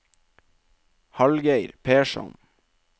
Hallgeir Persson